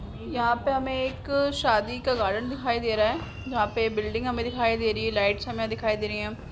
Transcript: यहाँ पे हमें एक शादी का गार्डन दिखाई दे रहा है जहाँ पे बिल्डिंग हमें दिखाई दे रही है और लाइट्स हमें दिखाई दे रही है।